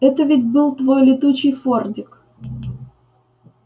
это ведь был твой летучий фордик